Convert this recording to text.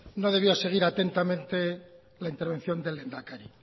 no debió seguir atentamente la intervención del lehendakari